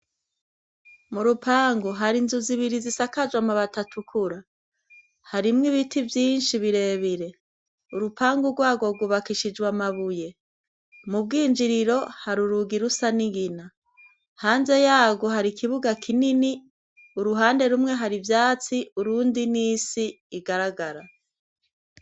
M'urupangu hari inzu zibiri zisakajwe amabati atukura, harimwo ibiti vyinshi birebire, urupangu rwago rwubakishijwe amabuye, mu bwinjiriro hari urugi rusa n'ingina, hanze yarwo hari ikibuga kinini, uruhande rumwe hari ivyatsi, urundi n'isi igaragara.